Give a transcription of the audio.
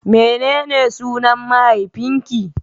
Menene sunan mahaifinki?